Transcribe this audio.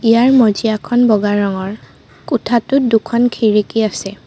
ইয়াৰ মজিয়াখন বগা ৰঙৰ কোঠাটোত দুখন খিৰিকী আছে।